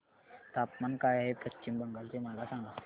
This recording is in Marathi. तापमान काय आहे पश्चिम बंगाल चे मला सांगा